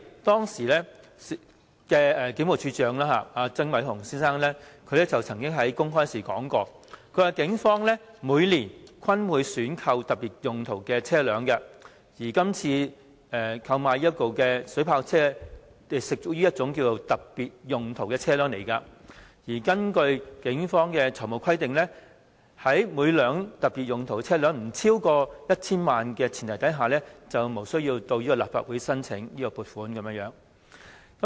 當時的警務處處長曾偉雄先生曾經公開表示，警方每年均會選購特別用途車輛，而今次購買的水炮車，亦屬特別用途車輛，而根據警方的財務規定，特別用途車輛若每輛不超過 1,000 萬元，便無須向立法會申請撥款。